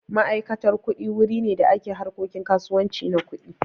Ma'aikatan kuɗi wuri ne da ke harkokin kasuwanci na kuɗi.